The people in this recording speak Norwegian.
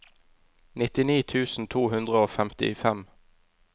nittini tusen to hundre og femtifem